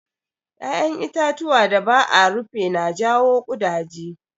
Ƴaƴan itatuwa da ba a rufe na jawo ƙudaje.